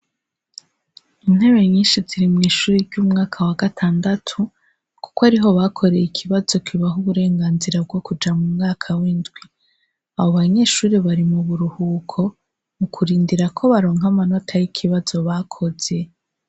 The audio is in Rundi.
Intebe nyinshi ziri mw'ishure ry'umwaka wa gatandatu kuko ariho bakoreye ikibazo kibaha uburenganzira bwo Kuja mu mwaka w'indwi, abo banyeshure bari mu buruhuko mu kurindira ko baronka amanota y'ikibazo bakoze.